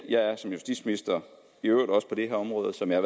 jeg er som justitsminister på det her område som jeg